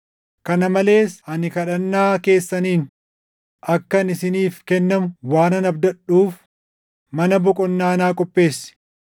Kana malees ani kadhannaa keessaniin akkan isiniif kennamu waanan abdadhuuf mana boqonnaa naa qopheessi.